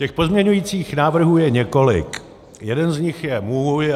Těch pozměňujících návrhů je několik, jeden z nich je můj.